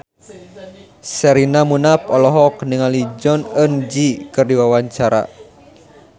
Sherina Munaf olohok ningali Jong Eun Ji keur diwawancara